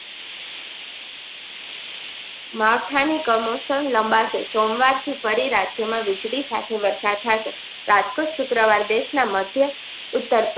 માથાની કમૌસમ લંબા શે સોમવાર થી ફરી રાજ્ય માં વીજળી સાથે વરસાદ સાથે રાજકોટ, શુક્રવાર દેશ ના મધ્ય ઉત્તર.